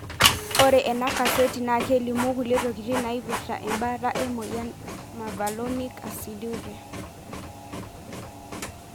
Ore ena kaseti na kelimu kulie tokitin naipirta embaata emoyian mevalonic aciduria.